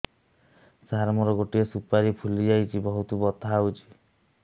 ସାର ମୋର ଗୋଟେ ସୁପାରୀ ଫୁଲିଯାଇଛି ବହୁତ ବଥା ହଉଛି